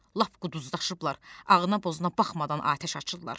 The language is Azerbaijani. Lap quduzlaşıblar, ağına-bozuna baxmadan atəş açırlar.